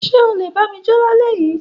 Ṣe ọ lé bami jo l'alẹ yi